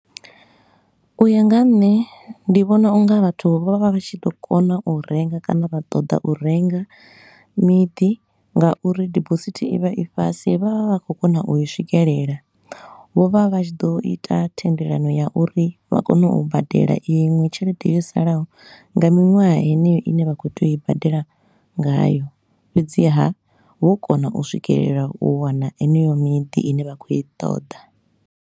U ya nga ha nṋe ndi vhona u nga vhathu vho vha vha vha vha tshi ḓo kona u renga kana vha ṱoḓa u renga miḓi nga uri dibosithi i vha i fhasi. Vha vha vha khou kona u i swikelela, vho vha vha tshi ḓo ita thendelano ya uri vha kone u badela iṅwe tshelede yo salaho nga miṅwaha heneyo i ne vha khou tea u i badela ngayo, fhedziha vho kona u swikelela u wana heneyo miḓi i ne vha khou i ṱoḓa.